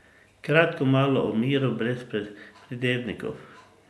Kratko malo o miru brez pridevnikov.